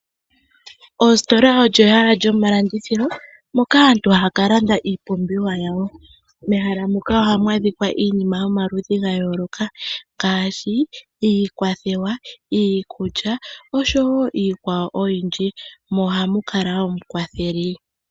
Ositola olyo ehala lyomalandithilo moka aantu haya ka landa iipumbiwa yawo. Mehala muka ohamu adhika iinima yomaludhi ga yooloka ngaashi iikulya, iikwathewa, oshowo iikwawo oyindji. Mo ohamu kala woo omukwatheli.